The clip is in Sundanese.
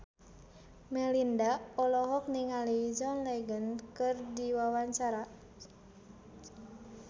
Melinda olohok ningali John Legend keur diwawancara